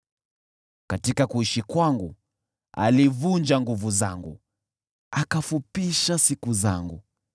Katika kuishi kwangu alivunja nguvu zangu, akafupisha siku zangu.